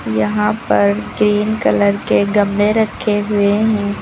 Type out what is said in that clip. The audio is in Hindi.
यहां पर ग्रीन कलर के गमले रखे हुए हैं।